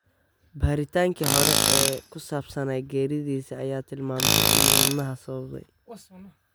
Baaritanki xore oo kusabsanay geridhisa aya tilmamte ini waadnaxa sababtey.